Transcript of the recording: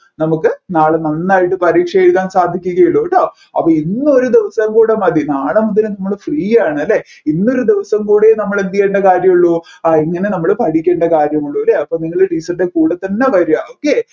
നമ്മുക്ക് നാളെ നന്നായിട്ട് പരീക്ഷ എഴുതാൻ സാധിക്കുകയുള്ളുട്ടോ അപ്പോ ഇന്ന് ഒരു ദിവസം കൂടെ മതി നാളെ മുതൽ നമ്മൾ free യാണ് അല്ലെ ഇന്നൊരു ദിവസം കൂടിയേ നമ്മൾ എന്തുചെയ്യേണ്ട കാര്യമുള്ളൂ ആ ഇങ്ങനെ നമ്മൾ പഠിക്കേണ്ട കാര്യമുള്ളൂ അല്ലെ അപ്പോ നിങ്ങൾ teacher ൻറെ കൂടെ തന്നെ വര